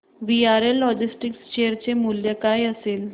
VRL logistics share चे मूल्य काय असेल